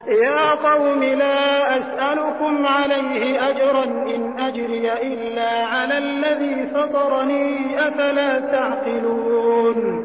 يَا قَوْمِ لَا أَسْأَلُكُمْ عَلَيْهِ أَجْرًا ۖ إِنْ أَجْرِيَ إِلَّا عَلَى الَّذِي فَطَرَنِي ۚ أَفَلَا تَعْقِلُونَ